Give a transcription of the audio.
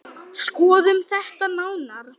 Skoðum þetta nánar